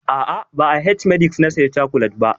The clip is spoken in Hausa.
A'a, ba a h-medix na saya cokolet ba.